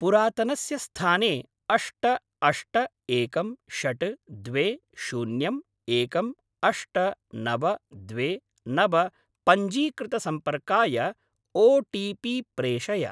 पुरातनस्य स्थाने अष्ट अष्ट एकं षड् द्वे शून्यम् एकम् अष्ट नव द्वे नव पञ्जीकृतसम्पर्काय ओ टी पी प्रेषय।